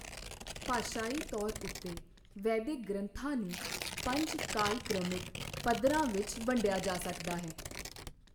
ਭਾਸ਼ਾਈ ਤੌਰ ਉੱਤੇ ਵੈਦਿਕ ਗ੍ਰੰਥਾਂ ਨੂੰ ਪੰਜ ਕਾਲਕ੍ਰਮਿਕ ਪੱਧਰਾਂ ਵਿੱਚ ਵੰਡਿਆ ਜਾ ਸਕਦਾ ਹੈਃ